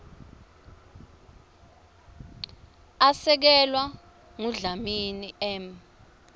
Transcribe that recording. asekelwa ngudlamini m